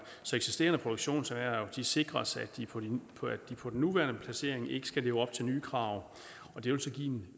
så eksisterende produktionserhverv sikres at de på den nuværende placering ikke skal leve op til nye krav og det vil så give en